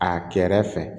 A kɛrɛ fɛ